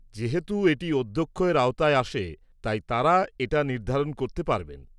যেহেতু এটি অধ্যক্ষের আওতায় আসে, তাই তাঁরা এটা নির্ধারণ করতে পারবেন।